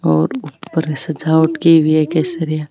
और ऊपर सजावट की हुई है केसरिया --